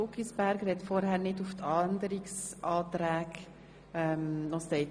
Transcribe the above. Guggisberg hat sich zuvor noch nicht zum Abänderungsantrag geäussert.